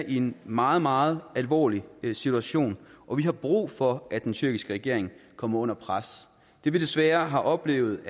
i en meget meget alvorlig situation og vi har brug for at den tyrkiske regering kommer under pres det vi desværre har oplevet